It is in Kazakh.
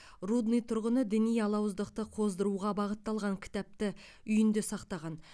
рудный тұрғыны діни алауыздықты қоздыруға бағытталған кітапты үйінде сақтаған